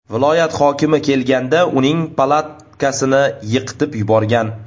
Viloyat hokimi kelganda uning palatkasini yiqitib yuborgan.